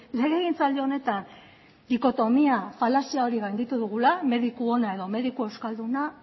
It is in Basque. legegintzaldi honetan dikotomia falazia hori gainditu dugula mediku ona edo mediku euskalduna